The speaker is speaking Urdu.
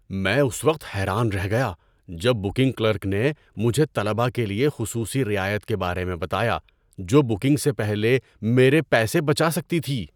میں اس وقت حیران رہ گیا جب بکنگ کلرک نے مجھے طلبہ کے لیے خصوصی رعایت کے بارے میں بتایا جو بکنگ سے پہلے میرے پیسے بچا سکتی تھی۔